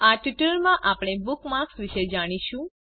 આ ટ્યુટોરીયલમાં આપણે બુકમાર્ક્સ વિશે જાણીશું